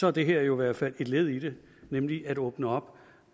er det her jo i hvert fald et led i det nemlig at åbne op